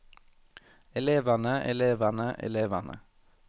elevene elevene elevene